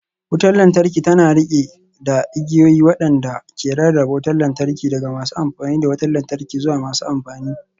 Wutar lantarki tana riƙe da igiyoyi waɗanda ke rarraba wutar lantarki daga masu amfani da wutar lantarki zuwa masu amfani